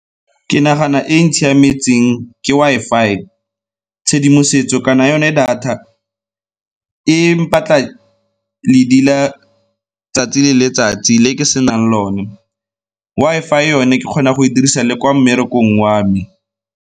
Ke nagana e e ntshiametseng ke Wi-Fi, tshedimosetso kana yone data e mpatla ledi la 'tsatsi le letsatsi le ke senang lone. Wi-Fi yone ke kgona go e dirisa le kwa mmerekong wa me.